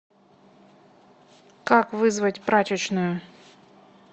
как вызвать прачечную